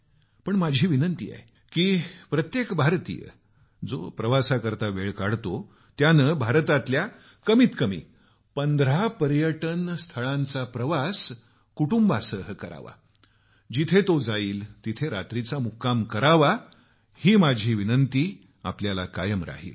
पण माझा आग्रह आहे की प्रत्येक भारतीय जो प्रवासाकरता वेळ काढतो त्यानं भारतातल्या कमीत कमी 15 पर्यटन स्थळांचा प्रवास कुटुंबांसह करावा जिथं जाईल तिथं रात्रीचा मुक्काम करावा हा माझा आग्रह कायम राहील